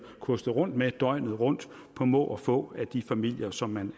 kostet rundt med døgnet rundt på må og få af den familie som man